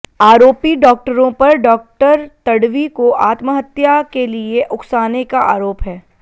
आरोपी डाक्टरों पर डा तडवी को आत्महत्या के लिए उकसाने का आरोप है